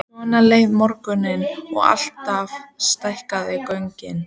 Svona leið morgunninn og alltaf stækkuðu göngin.